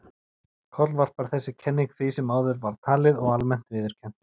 Kollvarpar þessi kenning því sem áður var talið og almennt viðurkennt.